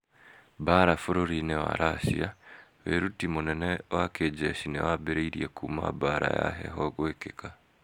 Mbaara bũrũri-inĩ wa Racia: Wĩruti mũnene mũno wa kĩnjeci nĩ wambĩrĩrie kuuma mbaara ya heho gwĩkĩka.